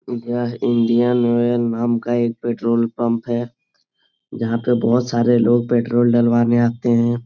यह Indian oil नाम का एक पेट्रोल पंप है जहाँ पे बहुत सारे लोग पेट्रोल डलवाने आते हैं।